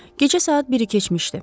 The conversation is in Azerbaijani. Gecə saat 1-i keçmişdi.